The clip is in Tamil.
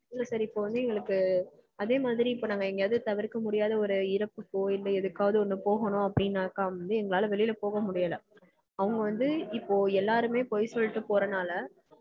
இப்போ வந்து எங்களுக்கு அதே மாதிரி இப்போ நாங்க எங்கேயாவது தவிர்க்க முடியாத ஒரு இறப்புக்கோ இல்ல எதுக்காவது ஒன்னு போகனுனாக்க வந்து எங்களால வெளிய போக முடியல. அவங்க வந்து இப்போ எல்லாருமே போய் சொல்லிட்டு போறதுனாள